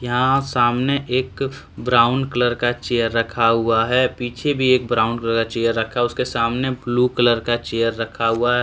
यहां सामने एक ब्राउन कलर का चेयर रखा हुआ है। पीछे भी एक ब्राउन कलर का चेयर रखा उसके सामने ब्लू कलर का चेयर रखा हुआ है ।